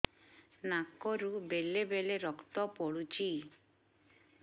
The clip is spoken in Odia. ନାକରୁ ବେଳେ ବେଳେ ରକ୍ତ ପଡୁଛି